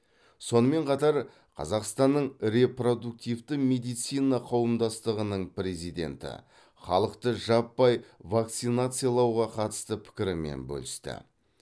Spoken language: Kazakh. сонымен қатар қазақстанның репродуктивті медицина қауымдастығының президенті халықты жаппай вакцинациялауға қатысты пікірімен бөлісті